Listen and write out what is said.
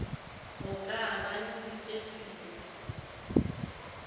go ka ba le ditefio